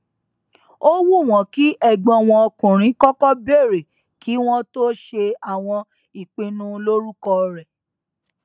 ó wù wọn kí ẹgbọn wọn ọkùnrin kọkọ bèrè kí wọn tó ṣe àwọn ìpinnu lórúkọ rẹ